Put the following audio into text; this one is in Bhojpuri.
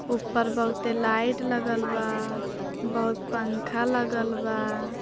ऊपर बहुते लाइट लगल बा बहुत पंखा लगल बा।